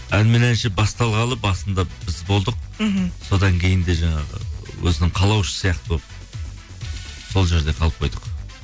ән мен әнші басталғалы басында біз болдық мхм содан кейін де жаңағы өзінің қалаушысы сияқты болып сол жерде қалып қойдық